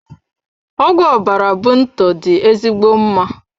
Ọgwụ ọbara bunto dị ezigbo mma.